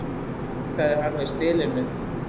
jánkaði hann við spilinu